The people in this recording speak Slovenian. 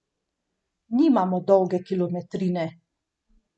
Nimamo dolge kilometrine.